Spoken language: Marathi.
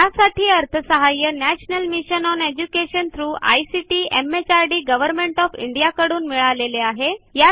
यासाठी अर्थसहाय्य National Mission on Education through ICT MHRD Government of India कडून मिळालेले आहे